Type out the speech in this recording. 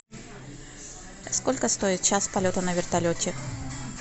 сколько стоит час полета на вертолете